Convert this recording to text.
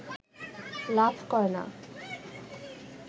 লাভ করে না